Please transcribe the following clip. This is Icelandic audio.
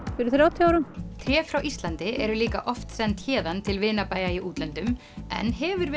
fyrir þrjátíu árum tré frá Íslandi eru líka oft send héðan til vinabæja í útlöndum en hefur